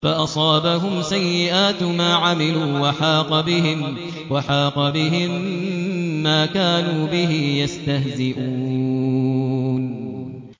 فَأَصَابَهُمْ سَيِّئَاتُ مَا عَمِلُوا وَحَاقَ بِهِم مَّا كَانُوا بِهِ يَسْتَهْزِئُونَ